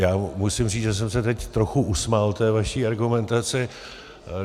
Já musím říct, že jsem se teď trochu usmál té vaší argumentaci.